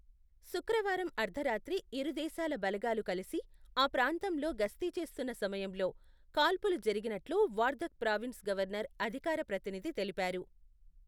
శుక్రవారం అర్థరాత్రి ఇరు దేశాల బలగాలు కలిసి ఆ ప్రాంతంలో గస్తీ చేస్తున్న సమయంలో కాల్పులు జరిగినట్లు వార్దక్ ప్రావిన్స్ గవర్నర్ అధికార ప్రతినిధి తెలిపారు.